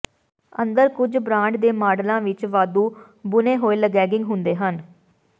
ਅੰਦਰ ਕੁਝ ਬ੍ਰਾਂਡ ਦੇ ਮਾਡਲਾਂ ਵਿਚ ਵਾਧੂ ਬੁਣੇ ਹੋਏ ਲੇਗੇਗਿੰਗ ਹੁੰਦੇ ਹਨ